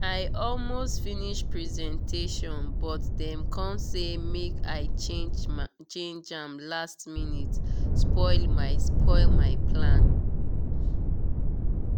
i almost finish presentation but dem come say make i change change am last minute spoil my spoil my plan.